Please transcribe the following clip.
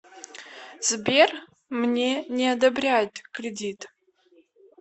сбер мне не одобряют кредит